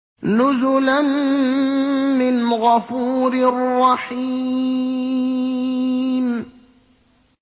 نُزُلًا مِّنْ غَفُورٍ رَّحِيمٍ